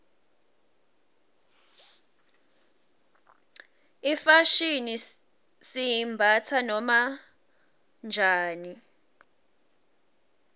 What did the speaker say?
ifashini siyimbatsa noma njani